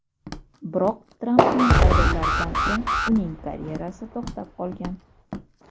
Biroq, Trampning saylovlaridan so‘ng uning karyerasi to‘xtab qolgan.